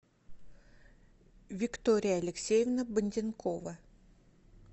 виктория алексеевна банденкова